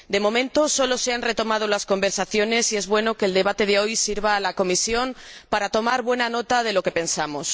De momento solo se han retomado las conversaciones y es bueno que el debate de hoy sirva a la Comisión para tomar buena nota de lo que pensamos.